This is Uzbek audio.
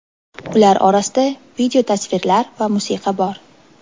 Ular orasida video, tasvirlar va musiqa bor.